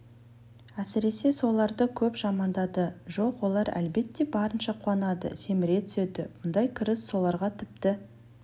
әсіресе соларды көп жамандады жоқ олар әлбәтте барынша қуанады семіре түседі бұндай кіріс оларға тіпті